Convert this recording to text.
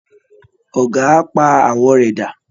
Ọ̀gà á pa àwọ̀ rẹ̀ dà